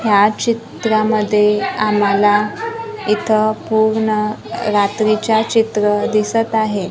ह्या चित्रामध्ये आम्हाला इथं पूर्ण रात्रीचा चित्र दिसत आहे.